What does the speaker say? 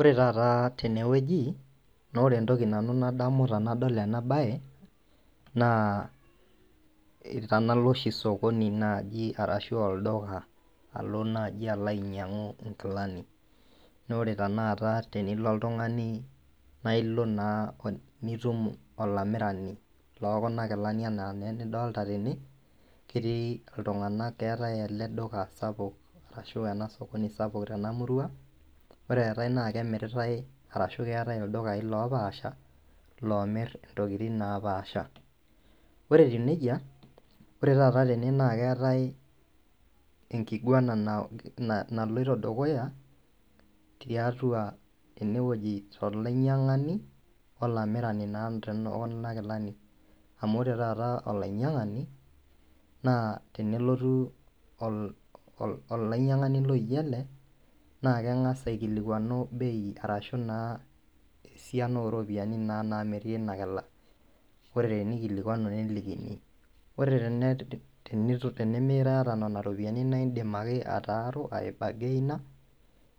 Ore tataa tenewueji, naaore entoki nanu nadamu tenadol enabaye naa tenalo oshi sokoni naji arashu olduka alo naji alo ainyang'u inkilani. Naore tenaata tenilo oltung'ani nailo naa nitum olamirani lookuna kilani anaa neenidolita tene, ketii iltung'anak keetai ele  duka sapuk ashu ena sokoni sapuk tena murua, ore eetai naake emiritai arashu keetai ildukai loopaasha loomirr intokitin naapasha. Ore teneija, ore tata tene naakeetai enkiguana nah naloito dukuya tiatua enewueji tolainyang'ani olamirani naa tene okuna kilani, amu ore taata olainyang'ani naa tenelotu ol olainyang'ani loijo ele naakeng'as aikilikuanu  bei arashu naa esiaina oropiani naa namiri ena kila, ore teneikilikuanu nelikini . Ore tene tenemiata nena ropiani naindim ake ataaru aibagaina